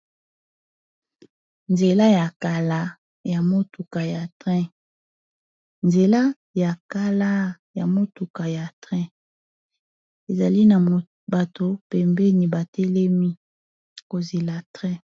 Nzela ya kala ya motuka ya train , ezali na bato pembeni batelemi kozela train.